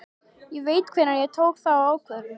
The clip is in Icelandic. Ég veit hvenær ég tók þá ákvörðun.